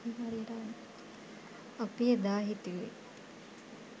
අපි එදා හිතුවෙ